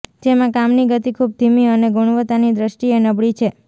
જેમાં કામની ગતિ ખૂબ ધીમી અને ગુણવત્તાની દ્રષ્ટિએ નબળી છે